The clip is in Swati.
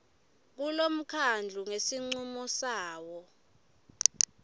kulomkhandlu ngesincumo sawo